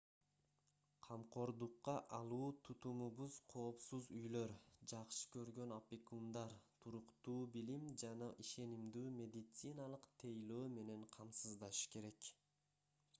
камкордукка алуу тутумубуз коопсуз үйлөр жакшы көргөн опекундар туруктуу билим жана ишенимдүү медициналык тейлөө менен камсыздашы керек